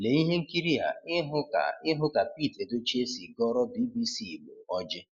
Lee ihe nkịrịa ịhụ ka ihụ ka Pete Edochie si gọọrọ BBC Igbo ọjị